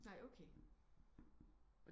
Nej okay